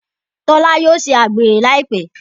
Tola yóò ṣe àgbèrè Láìpé.